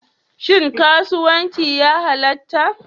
Shin karuwanci ya halatta?